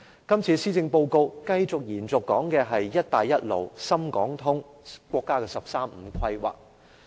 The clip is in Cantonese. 今次這份施政報告繼續講述"一帶一路"、深港通、國家"十三五"規劃。